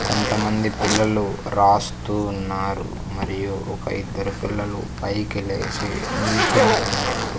కొంతమంది పిల్లలు రాస్తూ ఉన్నారు మరియు ఒక ఇద్దరు పిల్లలు పైకి లేచి నిల్చొని ఉన్నారు.